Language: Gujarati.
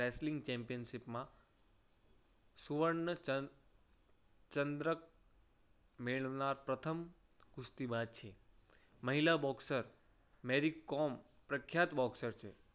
wrestling championship માં સુવર્ણચંદ્ર ચંદ્રક મેળવનાર પ્રથમ કુસ્તીબાજ છે. મહિલા બોક્સર મેરી કોમ પ્રખ્યાત બોક્સર છે.